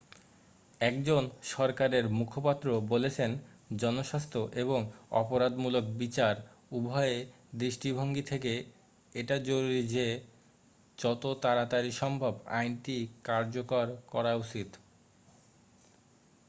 "একজন সরকারের মুখপাত্র বলেছেন "জনস্বাস্থ্য এবং অপরাধমূলক বিচার উভয় দৃষ্টিভঙ্গি থেকে এটা জরুরি যে যত তাড়াতাড়ি সম্ভব আইনটি কার্যকর করা উচিত।""